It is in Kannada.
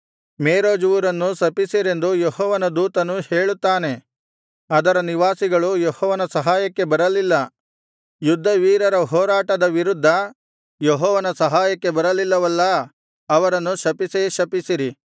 ಮೇರೋಜ್ ಊರನ್ನು ಶಪಿಸಿರೆಂದು ಯೆಹೋವನ ದೂತನು ಹೇಳುತ್ತಾನೆ ಅದರ ನಿವಾಸಿಗಳು ಯೆಹೋವನ ಸಹಾಯಕ್ಕೆ ಬರಲಿಲ್ಲ ಯುದ್ಧವೀರರ ಹೋರಾಟದ ವಿರುದ್ಧ ಯೆಹೋವನ ಸಹಾಯಕ್ಕೆ ಬರಲಿಲ್ಲವಲ್ಲಾ ಅವರನ್ನು ಶಪಿಸೇ ಶಪಿಸಿರಿ